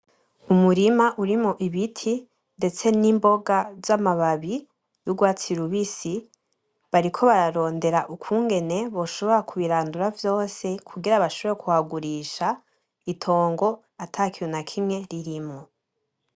Umurima urimwo ibiti ndetse n'imboga z'amababi y'urwatsi rubisi , bariko bararondera ukungene boshobora kubirandura vyose kugira bashobore kuhagurisha itongo atakintu nakimwe ririmwo.